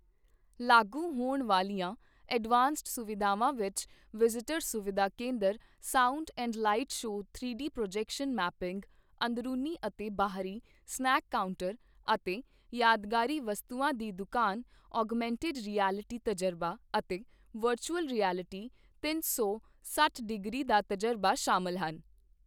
ਲਾਗੂ ਹੋਣ ਵਾਲੀਆਂ ਅਡਵਾਂਸਡ ਸੁਵਿਧਾਵਾਂ ਵਿੱਚ ਵਿਜ਼ਿਟਰ ਸੁਵਿਧਾ ਕੇਂਦਰ sound and light show three D projection mapping, ਅੰਦਰੂਨੀ ਅਤੇ ਬਾਹਰੀ ਸਨੈਕ ਕਾਊਂਟਰ ਅਤੇ ਯਾਦਗਾਰੀ ਵਸਤੂਆਂ ਦੀ ਦੁਕਾਨ ਔਗਮੈਂਟਿਡ ਰੀਐਲਿਟੀ ਤਜਰਬਾ ਅਤੇ ਵਰਚੁਅਲ ਰੀਐਲਿਟੀ ਤਿੰਨ ਸੌ ਸੱਠ ਡਿਗਰੀ ਦਾ ਤਜਰਬਾ ਸ਼ਾਮਲ ਹਨ।